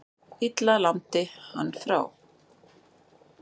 Lilla lamdi hann frá.